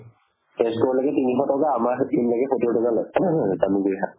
তেজপুৰলেকি তিনিশ টকা আমাৰ সেইখিনিলৈকে সত্তোৰ টকা লই জামুগুৰি হাট